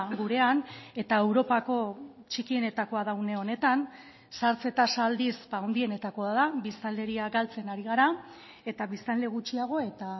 gurean eta europako txikienetakoa da une honetan zahartze tasa aldiz handienetakoa da biztanleria galtzen ari gara eta biztanle gutxiago eta